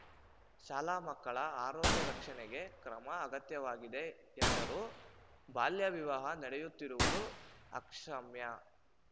ಶಾಲಾ ಮಕ್ಕಳ ಆರೋಗ್ಯ ರಕ್ಷಣೆಗೆ ಕ್ರಮ ಅಗತ್ಯವಾಗಿದೆ ಎಂದರು ಬಾಲ್ಯ ವಿವಾಹ ನಡೆಯುತ್ತಿರುವುದು ಅಕ್ಷಮ್ಯ